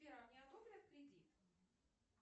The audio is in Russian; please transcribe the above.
сбер а мне одобрят кредит